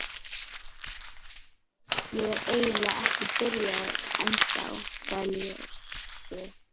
Ég er eiginlega ekki byrjaður ennþá, sagði Lási.